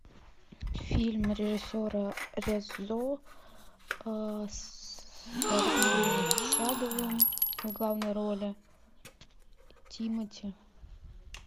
фильм режиссера резо с алексеем чадовым в главной роли тимати